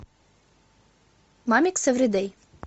мамикс эвридей